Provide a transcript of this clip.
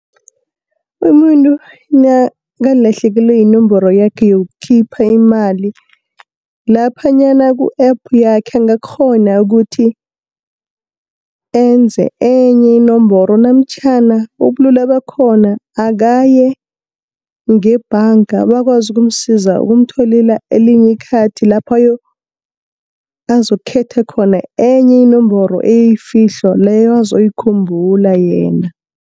Umuntu nakalahlekelwe yinomboro yakhe yokukhipha imali, laphanyana ku-App yakhe angakghona ukuthi, enze enye inomboro namtjhana ubulula bakhona akaye ngebhanga, bakwazi ukumsiza, ukumtholela elinye ikhathi lapho azokukhetha khona enye inomboro eyifihlo leyo azoyikhumbula yena.